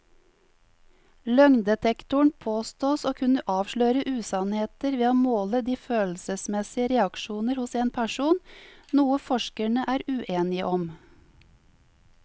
Løgndetektoren påstås å kunne avsløre usannheter ved å måle de følelsesmessige reaksjoner hos en person, noe forskerne er uenige om.